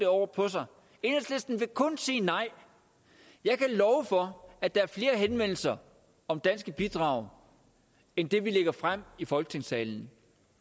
over på sig enhedslisten vil kun sige nej jeg kan love for at der er flere henvendelser om danske bidrag end det vi lægger frem i folketingssalen